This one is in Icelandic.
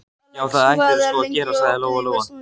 Já, það ættirðu sko að gera, sagði Lóa-Lóa.